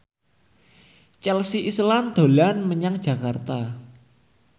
Chelsea Islan dolan menyang Jakarta